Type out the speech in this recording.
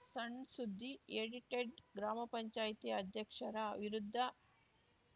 ಸಣ್‌ ಸುದ್ದಿ ಎಡಿಟೆಡ್‌ ಗ್ರಾಮ ಪಂಚಾಯತಿ ಅಧ್ಯಕ್ಷರ ವಿರುದ್ಧ